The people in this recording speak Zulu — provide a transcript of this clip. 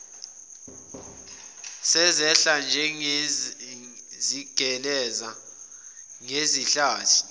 sezehla zigeleza ngezihlathi